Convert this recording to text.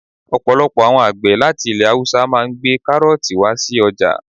Ọ̀pọ̀lọpọ̀ àwọn àgbẹ̀ láti ilẹ̀ haúsá máà ń gbé kárọ̀ọ̀tì wá sí ọjà